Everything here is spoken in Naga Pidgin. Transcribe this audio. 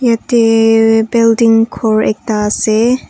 yateee building ghor ekta ase.